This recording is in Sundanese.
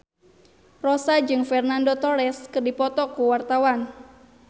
Rossa jeung Fernando Torres keur dipoto ku wartawan